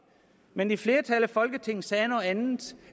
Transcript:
men et flertal i folketinget sagde noget andet